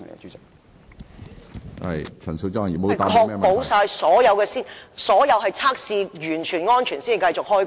主席，當局會否確保所有測試已經完成和安全才讓工人繼續開工。